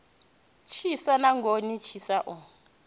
tshisa na goni tshisa o